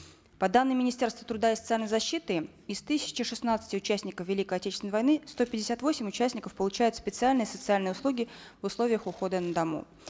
по данным министерства труда и социальной защиты из тысячи шестнадцати участников великой отечественной войны сто пятьдесят восемь участников получают специальные социальные услуги в условиях ухода на дому